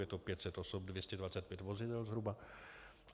Je to 500 osob, 225 vozidel, zhruba.